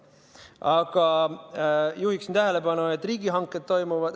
Aga ma juhiksin tähelepanu, et riigihanked toimuvad.